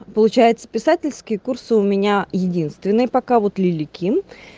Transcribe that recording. получается писательские курсы у меня единственные пока вот лилия ким